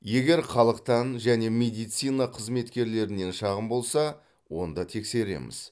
егер халықтан және медицина қызметкерлерінен шағым болса онда тексереміз